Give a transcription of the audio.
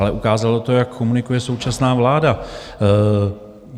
Ale ukázalo to, jak komunikuje současná vláda.